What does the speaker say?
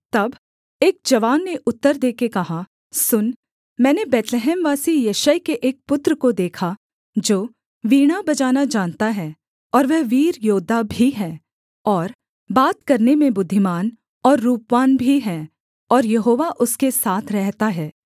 तब एक जवान ने उत्तर देके कहा सुन मैंने बैतलहमवासी यिशै के एक पुत्र को देखा जो वीणा बजाना जानता है और वह वीर योद्धा भी है और बात करने में बुद्धिमान और रूपवान भी है और यहोवा उसके साथ रहता है